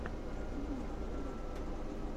последняя серия сплэйт